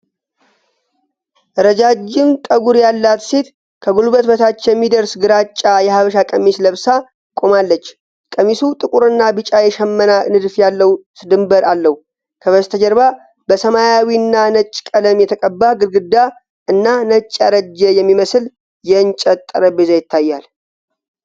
ረጃጅም ጠጉር ያላት ሴት ከጉልበት በታች የሚደርስ ግራጫ የሐበሻ ቀሚስ ለብሳ ቆማለች። ቀሚሱ ጥቁርና ቢጫ የሽመና ንድፍ ያለው ድንበር አለው። ከበስተጀርባ በሰማያዊና ነጭ ቀለም የተቀባ ግድግዳ እና ነጭ ያረጀ የሚመስል የእንጨት ጠረጴዛ ይታያል።